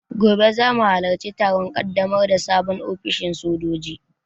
Gobe zamu halarci taron ƙaddamar da sabon ofishin sojoji